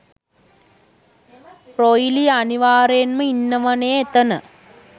රොයිලි අනිවාර්යෙන්ම ඉන්නවනේ එතන.